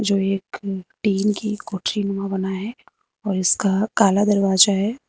एक टिन की कोठरीनुमा बना है और इसका काला दरवाजा है।